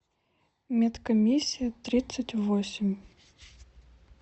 медкомиссия тридцать восемь